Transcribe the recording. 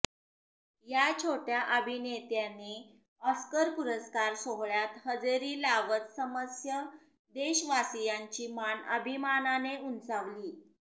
या छोट्या अभिनेत्याने ऑस्कर पुरस्कार सोहळ्यात हजेरी लावत समस्य देशवासियांची मान अभिमानाने उंचावली